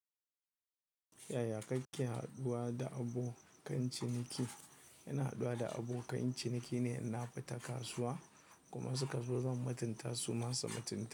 Yaya kake haduwa da abokan ciniki? Ina haduwa da abokan ciniki ne na fita kasuwa idan suka zo don matinta su masa matini.